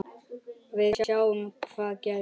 Við sjáum hvað gerist.